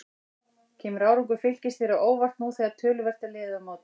Kemur árangur Fylkis þér á óvart nú þegar töluvert er liðið á mótið?